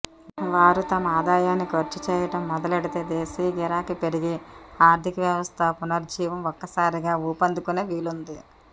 వారు తమ ఆదాయాన్ని ఖర్చు చేయడం మొదలెడితే దేశీయ గిరాకీ పెరిగి ఆర్థిక వ్యవస్థ పునరుజ్జీవం ఒక్కసారిగా ఊపందుకునే వీలుంటుంది